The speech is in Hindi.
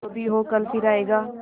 जो भी हो कल फिर आएगा